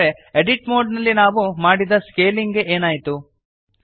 ಆದರೆ edit mode ನಲ್ಲಿ ನಾವು ಮಾಡಿದ ಸ್ಕೇಲಿಂಗ್ ಗೆ ಏನಾಯಿತು